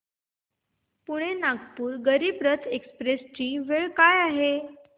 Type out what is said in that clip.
Pune Nagpur Garib Rath express ची वेळ काय आहे